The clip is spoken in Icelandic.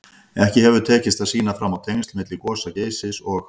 Ekki hefur tekist að sýna fram á tengsl milli gosa Geysis og